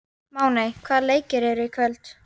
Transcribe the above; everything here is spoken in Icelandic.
Máney, hvaða leikir eru í kvöld?